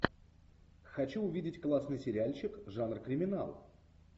хочу увидеть классный сериальчик жанр криминал